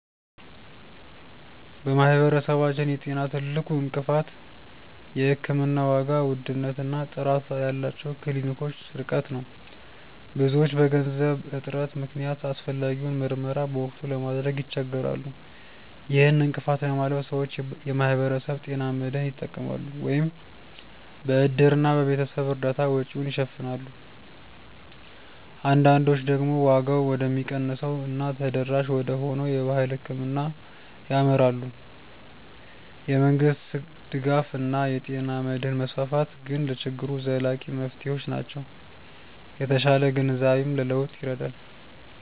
በማህበረሰባችን የጤና ትልቁ እንቅፋት የሕክምና ዋጋ ውድነት እና ጥራት ያላቸው ክሊኒኮች ርቀት ነው። ብዙዎች በገንዘብ እጥረት ምክንያት አስፈላጊውን ምርመራ በወቅቱ ለማድረግ ይቸገራሉ። ይህን እንቅፋት ለማለፍ ሰዎች የማህበረሰብ ጤና መድህን ይጠቀማሉ፤ ወይም በእድርና በቤተሰብ እርዳታ ወጪውን ይሸፍናሉ። አንዳንዶች ደግሞ ዋጋው ወደሚቀንሰው እና ተደራሽ ወደሆነው የባህል ሕክምና ያመራሉ። የመንግስት ድጋፍ እና የጤና መድህን መስፋፋት ግን ለችግሩ ዘላቂ መፍትሄዎች ናቸው። የተሻለ ግንዛቤም ለለውጥ ይረዳል።